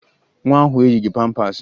Nwa ahụ eyighi pampaasị